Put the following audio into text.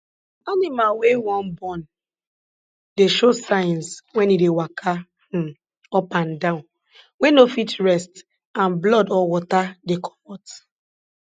animal wey wan born dey show signs wen e dey waka um up and down wey no fit rest and blood or water dey comot